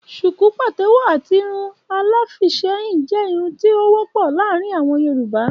Ṣùkú patẹwọ àti Irun aláfiisẹ́yìn jẹ́ Irun tí o wọ́pọ̀ láàrin àwọn Yorùbá.